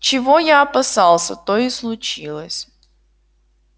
чего я опасался то и случилось